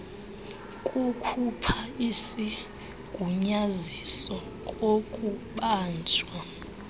kukhupha isigunyaziso kokubanjwa